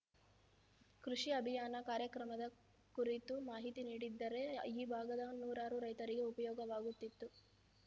ಕೃಷಿ ಅಭಿಯಾನ ಕಾರ್ಯಕ್ರಮದ ಕುರಿತು ಮಾಹಿತಿ ನೀಡಿದ್ದರೆ ಈ ಭಾಗದ ನೂರಾರು ರೈತರಿಗೆ ಉಪಯೋಗವಾಗುತ್ತಿತ್ತು